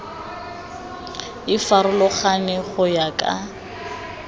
e farologane go ya ka